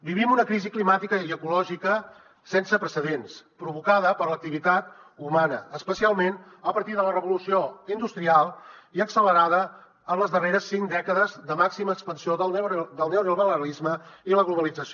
vivim una crisi climàtica i ecològica sense precedents provocada per l’activitat humana especialment a partir de la revolució industrial i accelerada en les darreres cinc dècades de màxima expansió del neoliberalisme i la globalització